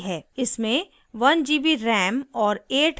इसमें 1gb ram और 8gb rom है